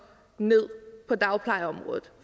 ned på dagplejeområdet